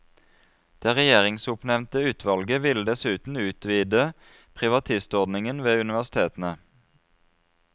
Det regjeringsoppnevnte utvalget ville dessuten utvide privatistordningen ved universitetene.